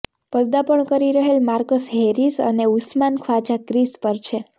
પર્દાપણ કરી રહેલ Marcus Harris અને ઉસ્માન ખ્વાજા ક્રિઝ પર છે